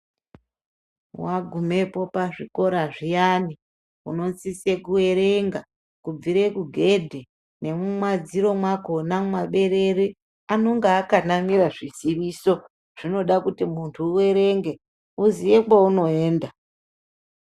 Wagumepo pazvikora zviyani, unosise kuerenga kubvire kugedhe, nemumadziro mwakhona, mumaberere, anonga akanamira zviziiso. Zvinoda kuti muntu uerenge, uziye kweunoenda.